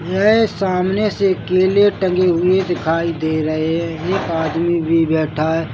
येह.. सामने से केले टंगे हुए दिखाई दे रहे है एक आदमी भी बैठा है।